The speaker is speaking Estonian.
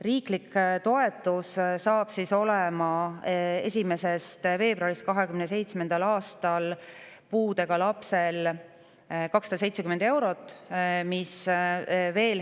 Riiklik toetus on 1. veebruarist 2027. aastal puudega lapsele 270 eurot.